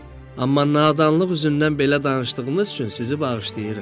Amma nadanlıq üzündən belə danışdığınız üçün sizi bağışlayıram.